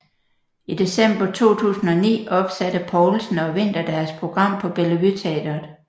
I december 2009 opsatte Poulsen og Winther deres program på Bellevue Teatret